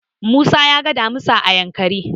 Musa ya ga damisa a Yankari.